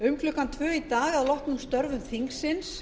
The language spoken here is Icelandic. um klukkan tvö í dag að loknum störfum þingsins